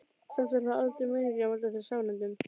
Samt var það aldrei meiningin að valda þér sárindum.